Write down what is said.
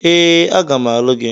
Ee, aga m alụ gị.